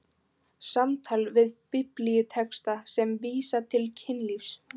SAMTAL VIÐ BIBLÍUTEXTA SEM VÍSA TIL KYNLÍFS